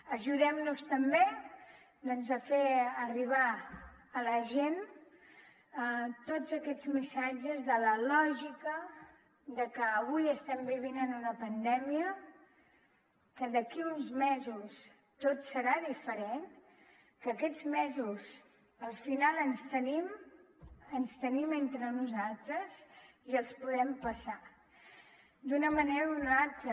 ajudem nos també a fer arribar a la gent tots aquests missatges de la lògica de que avui estem vivint en una pandèmia que d’aquí uns mesos tot serà diferent que aquests mesos al final ens tenim ens tenim entre nosaltres i els podem passar d’una manera o d’una altra